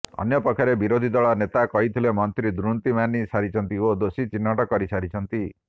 ଅନ୍ୟପକ୍ଷରେ ବିରୋଧୀ ଦଳ ନେତା କହିଥିଲେ ମନ୍ତ୍ରୀ ଦୁର୍ନୀତି ମାନି ସାରିଛନ୍ତି ଓ ଦୋଷୀ ଚିହ୍ନଟ କରିସାରିଛନ୍ତି